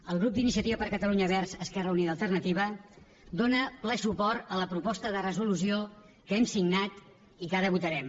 el grup d’iniciativa per catalunya verds esquerra unida i alternativa dóna ple suport a la proposta de resolució que hem signat i que ara votarem